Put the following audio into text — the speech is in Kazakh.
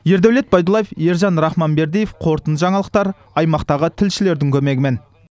ердәулет байдуллаев ержан рахманбердиев қорытынды жаңалықтар аймақтағы тілшілердің көмегімен